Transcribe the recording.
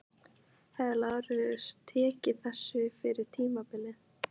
Hefði Lárus tekið þessu fyrir tímabilið?